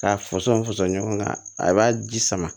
K'a fɔsɔn fassɔn ɲɔgɔnna a b'a ji sama